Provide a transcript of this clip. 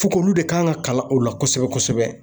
k'olu de kan ka kalan o la kosɛbɛ kosɛbɛ.